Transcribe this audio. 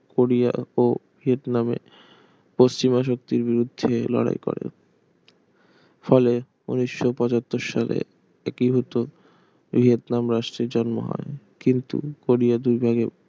Korea ও ভিয়েতনামে নামে পশ্চিমা শক্তির বিরুদ্ধে লড়াই করে ফলে উনিশশো পচাঁত্তর সালে একীভূত ভিয়েতনাম রাষ্ট্রের জন্ম হয় কিন্তু কোরিয়া দুই ভাগে ভাগ